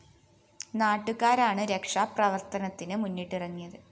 നാട്ടുകാരാണ് രക്ഷാ പ്രവര്‍ത്തനത്തിന് മുന്നിട്ടിറങ്ങിയത്